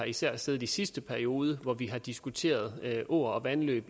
især har siddet i sidste periode hvor vi har diskuteret åer og vandløb